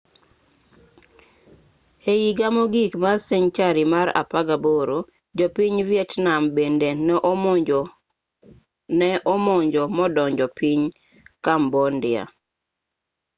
e iga mogik mar senchari mar 18 jo piny vietnam bende ne omonjo modonjo piny cambodia